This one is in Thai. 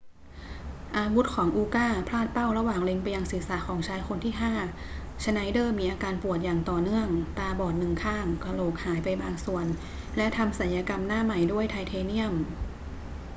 อาวุธของอูก้าพลาดเป้าระหว่างเล็งไปยังศีรษะของชายคนที่ห้า ชไนเดอร์มีอาการปวดอย่างต่อเนื่อง ตาบอดหนึ่งข้าง กะโหลกหายไปบางส่วน และทำศัลยกรรมหน้าใหม่ด้วยไทเทเนียม